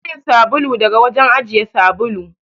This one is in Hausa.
Samo min sabulu daga wajen ajiye sabulu.